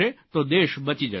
તો દેશ બચી જશે